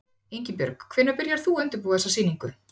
Ingibjörg, hvenær byrjaðir þú að undirbúa þessa sýningu?